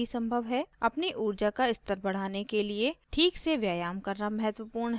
अपनी ऊर्जा का स्तर बढ़ाने के लिए ठीक से व्यायाम करना महत्वपूर्ण है